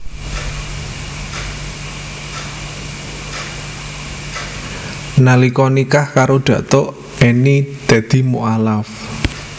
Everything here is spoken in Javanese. Nalika nikah karo Datuk Enny dadi mualaf